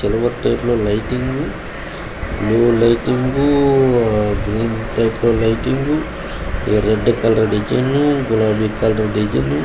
lighting blue lighting green lighting red colour design గులాబీ colour design --